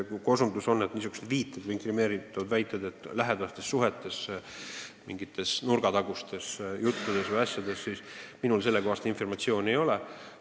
Te viitate kellegi lähedastele suhetele mingites nurgatagustes asjades, minul sellekohast informatsiooni ei ole.